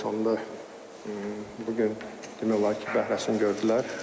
Sonda bu gün demək olar ki, bəhrəsini gördülər.